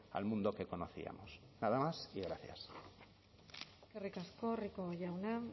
al mundo que conocíamos nada más y gracias eskerrik asko rico jauna